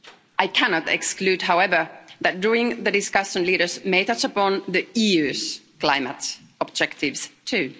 I cannot exclude, however, that during the discussion leaders may touch upon the EU's climate objectives, too.